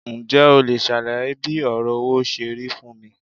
Ǹjẹ́ o leè sàlàyé bí òrò owó serí fún mi